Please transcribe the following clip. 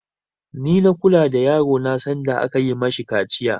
Ni na kula da yaro na sanda aka yi mashi kaciya